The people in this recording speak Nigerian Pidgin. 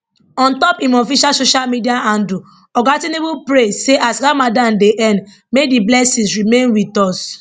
ontop im official social media handle oga tinubu pray say as ramadan dey end may di blessings remain with us